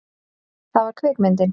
Það var kvikmyndin